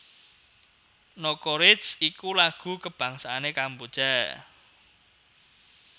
Nokoreach iku lagu kabangsané Kamboja